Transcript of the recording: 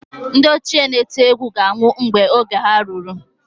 Ndị ochie na-eti egwu ga-anwụ mgbe oge ha ruru.